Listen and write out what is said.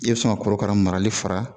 I bɛ sɔn ka korokara marali fara